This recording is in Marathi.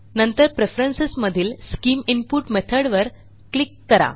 नंतर प्रेफरन्स मधील स्किम इनपुट मेथॉड वर क्लिक करा